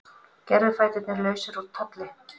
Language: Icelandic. Gervifæturnir lausir úr tolli